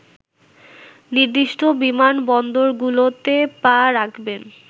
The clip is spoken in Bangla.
নির্দিষ্ট বিমানবন্দরগুলোতে পা রাখবেন